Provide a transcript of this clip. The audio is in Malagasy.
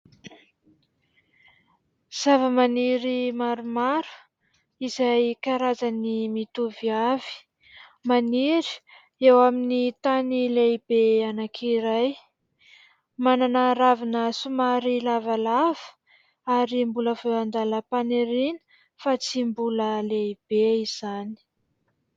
Zavamaniry maromaro izay karazany mitovy avy. Maniry eo amin'ny tany lehibe anankiray, manana ravina somary lavalava ary mbola vao an-dalam-paniriana fa tsy mbola lehibe izany.